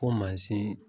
Ko mansin